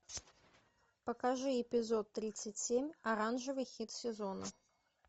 покажи эпизод тридцать семь оранжевый хит сезона